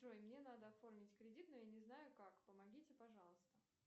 джой мне надо оформить кредит но я не знаю как помогите пожалуйста